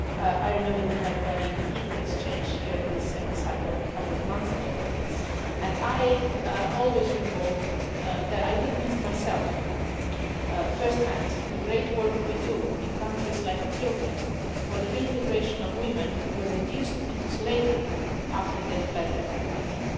I remember we had a very heated exchange here in this Chamber a couple of months ago about this, and I always recall that I witnessed myself first hand the great work we do in countries like Ethiopia for the reintegration of women who were reduced to slavery after they fled their home country.